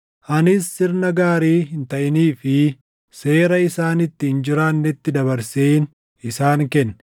Anis sirna gaarii hin taʼinii fi seera isaan itti hin jiraannetti dabarseen isaan kenne;